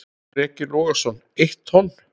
Breki Logason: Eitt tonn?